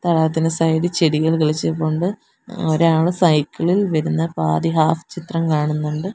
അതിന് സൈഡി ചെടികള് കിളിച്ച് നിൽപ്പുണ്ട് ഒരാള് സൈക്കിളിൽ വരുന്ന പാതി ഹാഫ് ചിത്രം കാണുന്നുണ്ട്.